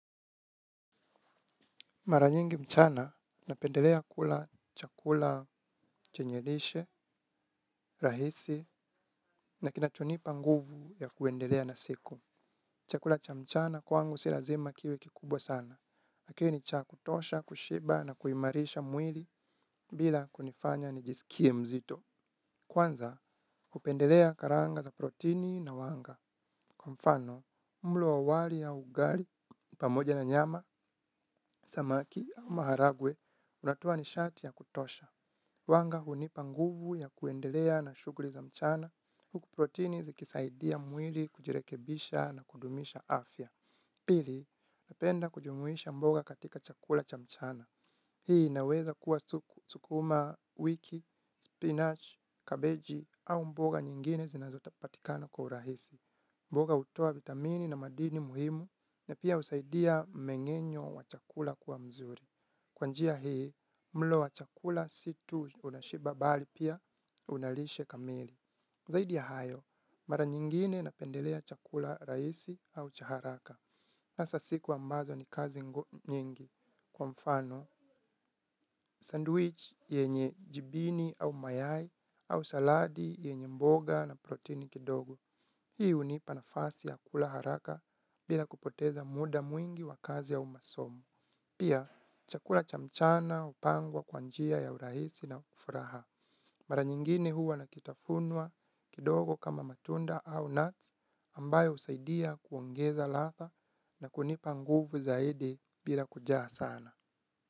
Mara nyingi mchana, napendelea kula chakula chenye lishe, rahisi, na kinachonipa nguvu ya kuendelea na siku. Chakula cha mchana kwangu si lazima kiwe kikubwa sana. Kiwe ni cha kutosha, kushiba na kuimarisha mwili bila kunifanya nijisikie mzito. Kwanza, hupendelea karanga za protini na wanga. Kwa mfano, mlo wa wali ya ugali, pamoja na nyama, samaki au maharagwe unatoa nishati ya kutosha. Wanga hunipa nguvu ya kuendelea na shughuli za mchana, huku protini zikisaidia mwili kujirekebisha na kudumisha afya. Pili, napenda kujumuisha mboga katika chakula cha mchana. Hii inaweza kuwa sukuma wiki, spinach, kabeji au mboga nyingine zinazopatikana kwa urahisi. Mboga hutoa vitamini na madini muhimu na pia husaidia mmengenyo wa chakula kuwa mzuri. Kwa njia hii, mlo wa chakula si tu unashiba bali pia una lishe kamili. Zaidi ya hayo, mara nyingine napendelea chakula rahisi au cha haraka. Hasa siku ambazo ni kazi nyingi, kwa mfano. Sandwich yenye jibini au mayai au saladi yenye mboga na protini kidogo. Hii hunipa nafasi ya kula haraka bila kupoteza muda mwingi wa kazi au masomo. Pia, chakula cha mchana hupangwa kwa njia ya urahisi na furaha. Mara nyingine huwa na kitafunwa kidogo kama matunda au nuts ambayo husaidia kuongeza ladha na kunipa nguvu zaidi bila kujaa sana.